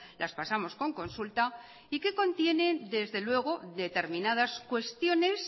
las pasamos con consulta y que contienen desde luego determinadas cuestiones